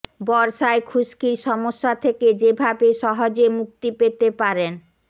বর্ষায় খুশকির সমস্যা থেকে যেভাবে সহজে মুক্তি পেতে পারেন